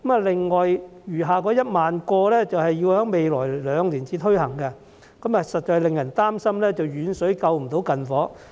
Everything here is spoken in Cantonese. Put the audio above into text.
另外餘下的1萬個職位，則要在未來兩年才推行，實在令人擔心遠水不能救近火。